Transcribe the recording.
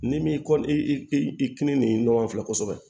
N'i m'i kɔ i i kilen nin ɲɔgɔn fɛ kosɛbɛ